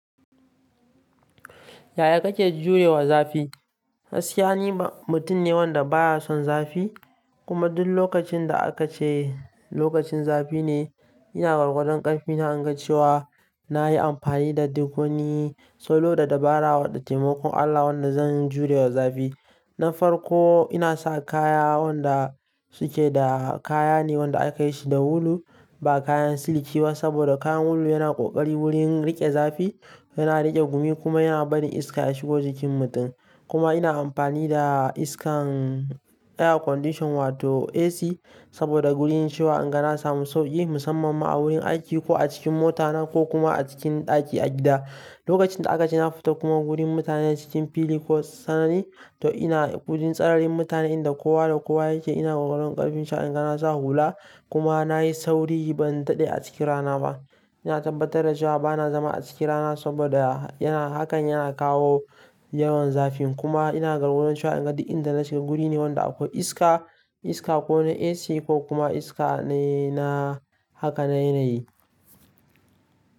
Yaya kake juyowa zafi? Gaskiya ni ba mutum ne wanda baya son zafi. Kuma duk lokacin da aka ce lokacin zafi ne ina gwargwadon ƙarfina in ga cewa na yi amfani da duk wani salo da dabara waɗanda taimakon Allah wanda zan jurawa zafi. Na farko ina saka kaya wanda su ke da kaya ne waɗandaka yi shi da wulu ba kayan siliki ba saboda kayan wulu yana ƙoƙari wurin riƙe zafi, yana riƙe gumi kuma yana barin iska ya shigo jikin mutum. Kuma ina amfani da iskan air condition wato AC saboda wurin cewa in ga na samu sauƙi musamman ma a wurin aiki ko a cikin mota ko kuma a cikin ɗaki a gida. Lokacin da aka ce na fita kuma wurin mutane cikin fili ko tsanani to ina wurin tsararin mutane inda kowa da kowa yake ina gwargwadon ƙarfinta in ga na sa hula kuma na yi sauri ban daɗe a cikin rana ba. Ina tabbatar da cewa bana zama a cikin rana saboda hakan yana kawo yawan zafi kuma ina gwargwadon cewa in ga duk inda na shiga wuri ne wanda akwai iska, iska ko na AC ko kuma iska ne na haka na yanayi.